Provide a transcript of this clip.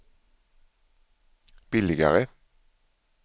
billigare